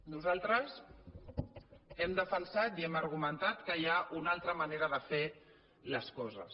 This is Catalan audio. nosaltres hem defensat i hem argumentat que hi ha una altra manera de fer les coses